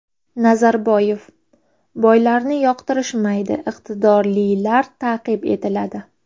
Nazarboyev: Boylarni yoqtirishmaydi, iqtidorlilar ta’qib etiladi.